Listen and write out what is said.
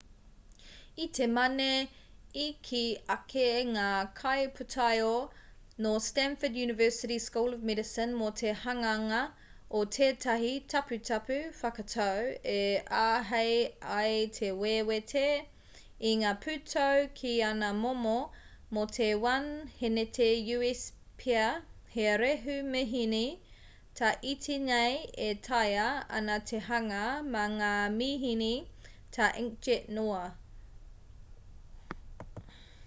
i te mane i kī ake ngā kaipūtaiao nō stanford university school of medicine mō te hanganga o tētahi taputapu whakatau e āhei ai te wewete i ngā pūtau ki ana momo: mō te 1 hēneti u.s pea he rehu-mihini tā iti nei e taea ana te hanga mā ngā mihini tā inkjet noa